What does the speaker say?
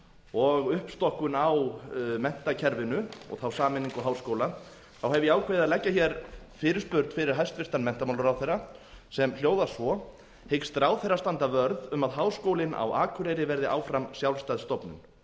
og uppstokkun á menntakerfinu og þá sameiningu háskóla þá hef ég ákveðið að leggja fyrirspurn fyrir hæstvirtan menntamálaráðherra sem hljóðar svo hyggst ráðherra standa vörð um að háskólinn á akureyri verði áfram sjálfstæð stofnun